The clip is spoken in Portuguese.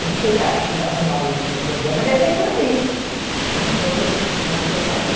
Eu não sei a a fundação da USP de quando é, mas deve ser por aí ãh, vocês devem até saber.